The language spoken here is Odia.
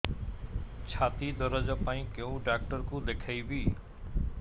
ଛାତି ଦରଜ ପାଇଁ କୋଉ ଡକ୍ଟର କୁ ଦେଖେଇବି